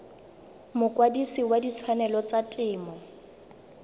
mokwadise wa ditshwanelo tsa temo